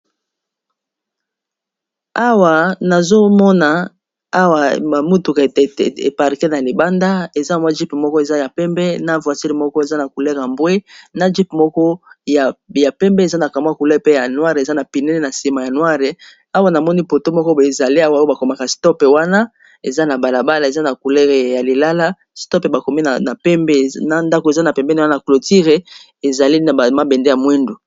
Awa nazomona ba mituka e parker na libanda eza jeep moko eza ya pembe, na voiture moko eza na couleur ya mbwe na jeep moko ya pembe eza na couleur pe ya noire, eza na penene na sima awa namoni poto moko ezali awa oyo bakomaka stop wana eza na balabala eza na couleur ya lilala stop bakomi na pembe, ndako eza na pembene wana clôture ezali na mabende ya mwindu.